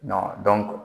Dɔn